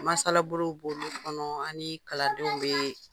Masalabolow b'olu kɔnɔ ani kaladenw ye,